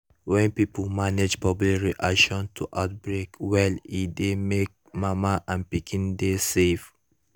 when pipo manage public reaction to outbreak well e dey make mama and pikin dey save